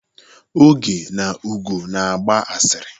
Oge na Ugo na-agba asịrị.